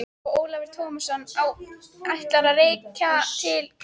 Og Ólafur Tómasson á ættir að rekja til Grettis.